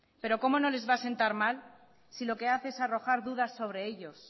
pero cómo no les va a sentar mal si lo que hace es arrojar dudas sobre ellos